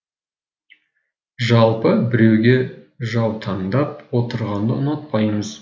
жалпы біреуге жаутаңдап отырғанды ұнатпаймыз